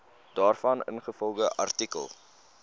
daarvan ingevolge artikel